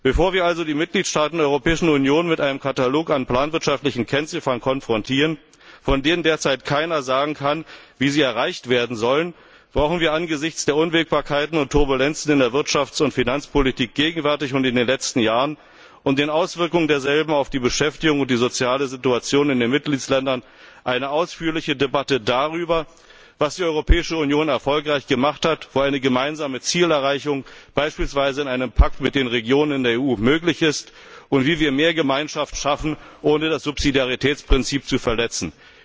Bevor wir also die Mitgliedstaaten der Europäischen Union mit einem Katalog an planwirtschaftlichen Kennziffern konfrontieren, von denen derzeit keiner sagen kann, wie sie erreicht werden sollen, brauchen wir angesichts der Unwägbarkeiten und Turbulenzen in der Wirtschafts und Finanzpolitik gegenwärtig und in den letzten Jahren und der Auswirkungen derselben auf die Beschäftigung und soziale Situation in den Mitgliedstaaten eine ausführliche Debatte darüber, was die Europäische Union erfolgreich gemacht hat, wo eine gemeinsame Zielerreichung, beispielsweise in einem Pakt mit den Regionen in der EU, möglich ist und wie wir mehr Gemeinschaft schaffen, ohne das Subsidiaritätsprinzip zu verletzen.